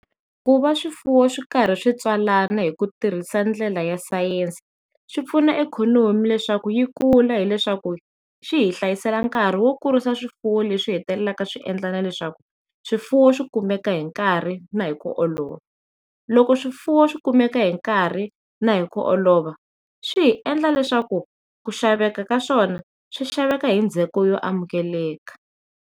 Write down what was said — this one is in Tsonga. Ku va swifuwo swi ri karhi swi tswalana hi ku tirhisa ndlela ya sayense swipfuna ikhonomi leswaku yi kula hileswaku swi hi hlayiseka nkhari wo kurisa swifuwo leswi hetelela swiendliwa leswaku swifuwo swi kumeka hinkarhi na hi ku olova loko swifuwo swikumeka hi nkarhi na hi ku olova swi endla leswaku ku xaveka ka swona swi xaveka hi ndzheko yo amukeleka.